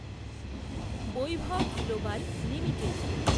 Vaibhav global limited